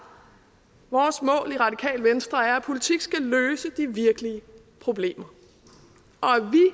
vores mål i radikale venstre er at politik skal løse de virkelige problemer